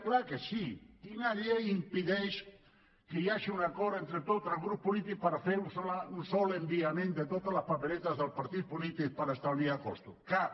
clar que sí quina llei impedeix que hi hagi un acord entre tots els grups polítics per fer un sol enviament de totes les paperetes dels partits polítics per estalviar costos cap